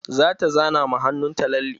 Zata zana ma hannunta lalle.